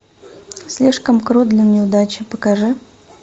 слишком крут для неудачи покажи